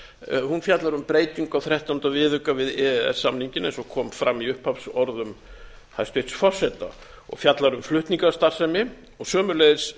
hún fjallar um breytingu á þrettánda viðauka vi e e s samninginn eins og kom fram í upphafsorðum hæstvirts forseta og fjallar um flutningastarfsemi sömuleiðis